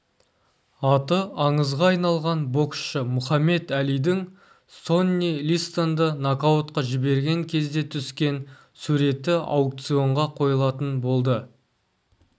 аты аңызға айналған боксшы мұхаммед әлидің сонни листонды нокаутқа жіберген кезде түскен суреті аукционға қойылатын болды